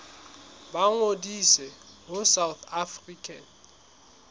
ba ngodise ho south african